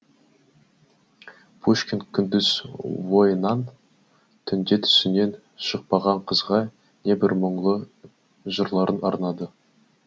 пушкин күндіз ойынан түнде түсінен шықпаған қызға не бір мұңлы жырларын арнады